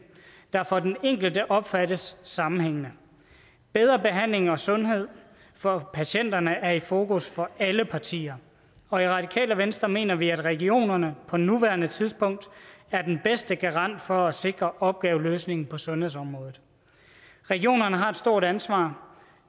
der for den enkelte opfattes sammenhængende bedre behandling og sundhed for patienterne er i fokus for alle partier og i radikale venstre mener vi at regionerne på nuværende tidspunkt er den bedste garant for at sikre opgaveløsningen på sundhedsområdet regionerne har et stort ansvar